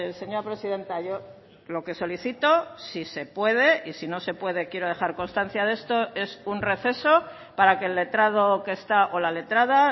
señora presidenta yo lo que solicito si se puede y si no se puede quiero dejar constancia de esto es un receso para que el letrado que está o la letrada